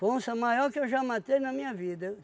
Foi onça maior que eu já matei na minha vida.